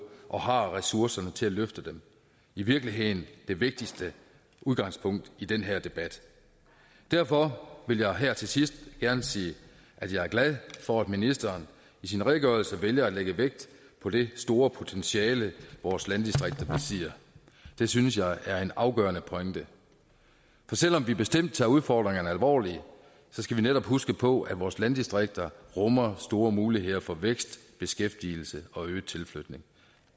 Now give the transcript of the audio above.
og har ressourcerne til at løfte dem i virkeligheden det vigtigste udgangspunkt i den her debat derfor vil jeg her til sidst gerne sige at jeg er glad for at ministeren i sin redegørelse vælger at lægge vægt på det store potentiale vores landdistrikter besidder det synes jeg er en afgørende pointe for selv om vi bestemt tager udfordringerne alvorligt skal vi netop huske på at vores landdistrikter rummer store muligheder for vækst beskæftigelse og øget tilflytning